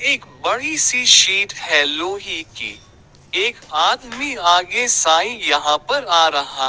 एक बड़ी सी सीट है लोहे की एक आदमी आगे साइ यहां पर आ रहा--